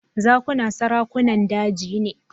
Zakuna sarakunan daji ne.